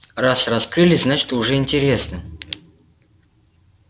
раз раскрыли значит уже интересно